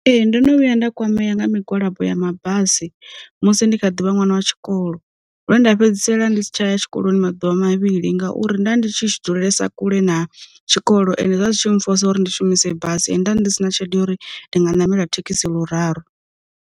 Ee ndono vhuya nda kwamea nga migwalabo ya mabasi musi ndi kha ḓuvha ṅwana wa tshikolo, lwe nda fhedzisela ndi si tsha ya tshikoloni maḓuvha mavhili ngauri nda ndi tshi tshi dzulesa kule na tshikolo, ende zwa zwi tshi mfosa uri ndi shumise basi nda ndi si na tshelede ya uri ndi nga namela thekhisi luraru.